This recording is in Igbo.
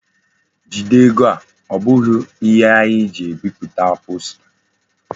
Jide ego a! O bughi ihe anyi ji ebiputa posta.